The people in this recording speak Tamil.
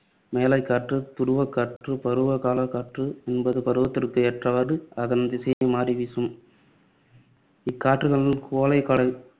மேலைக்காற்று, துருவக்காற்று. பருவக்காலக் காற்று என்பது பருவத்திற்கு ஏற்றவாறு அதன் திசையை மாறி வீசும். இக்காற்றுகள் கோடைக்கால